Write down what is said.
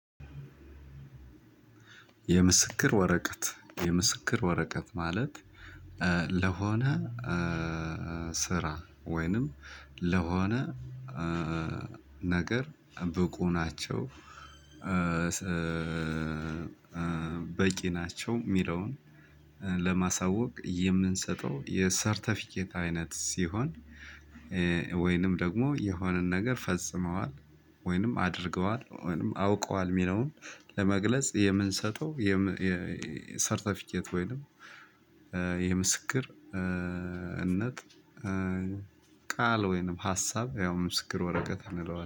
የምስክር ወረቀት የምስክር ወረቀት ማለት ለሆነ ስራ ወይንም ለሆነ ነገር ብቁ ናቸው። በቂ ናቸው የሚለውን ለማሳወቅ የምንሰጠው የሰርተፊኬት አይነት ሲሆን። ወይንም ደግሞ የሆነን ነገር ፈጽመዋል ወይንም አድርገዋል ወይንም አውቀዋል የሚለውን ለመግለጽ የምንሰጠው። ሰርተፊኬት ወይንም የምስክርነት ቃል ወይንም ሀሳብ ያው ምስክር ወረቀት እንለዋለን